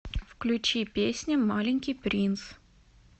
включи песня маленький принц